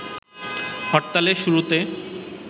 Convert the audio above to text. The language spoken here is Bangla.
হরতালের শুরুতে